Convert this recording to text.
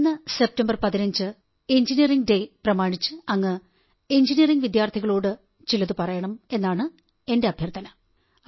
വരുന്ന സെപ്റ്റംബർ 15 നുള്ള എഞ്ചിനീയറിംഗ് ദിനം പ്രമാണിച്ച് അങ്ങ് എഞ്ചിനീയറിംഗ് വിദ്യാർഥികളോടു ചിലത് പറയണം എന്നാണ് എന്റെ അഭ്യർഥന